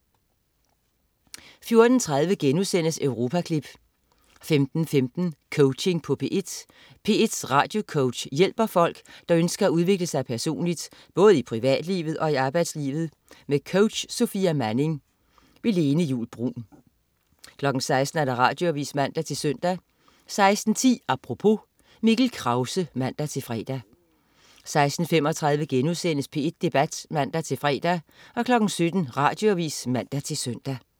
14.30 Europaklip* 15.15 Coaching på P1. P1s radiocoach hjælper folk, som ønsker at udvikle sig personligt, både i privatlivet og i arbejdslivet. Med coach Sofia Manning. Lene Juul Bruun 16.00 Radioavis (man-søn) 16.10 Apropos. Mikkel Krause (man-fre) 16.35 P1 Debat* (man-fre) 17.00 Radioavis (man-søn)